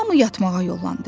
Hamı yatmağa yollandı.